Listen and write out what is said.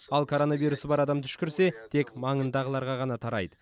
ал коронавирусы бар адам түшкірсе тек маңындағыларға ғана тарайды